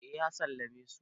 eh ya sallame su